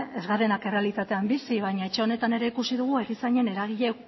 ez garenak errealitatean bizi baina etxe honetan ere ikusi dugu erizainen eragile